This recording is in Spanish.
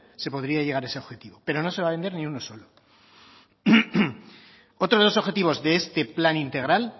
se podría llegar a ese objetivo pero no se va a vender ni uno solo otro de los objetivos de este plan integral